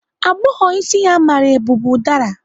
Agbọghọ isi ya mara eu bu ụdara.